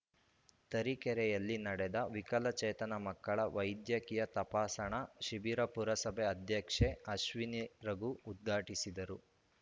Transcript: ತರೀಕೆರೆಯಲ್ಲಿ ನಡೆದ ವಿಕಲಚೇತನ ಮಕ್ಕಳ ವೈದ್ಯಕೀಯ ತಪಾಸಣಾ ಶಿಬಿರ ಪುರಸಭೆ ಅಧ್ಯಕ್ಷೆ ಅಶ್ವಿನಿ ರಘು ಉದ್ಘಾಟಿಸಿದರು